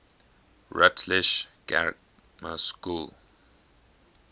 rutlish grammar school